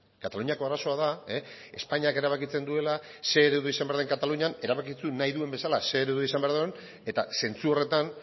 kataluniako arazoa da espainiak erabakitzen duela ze eredu izan behar den katalunian erabaki zuen nahi duen bezala ze eredu izan behar duen eta zentzu horretan